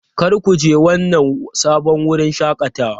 Kar ku je wannan sabon wurin shakatawa!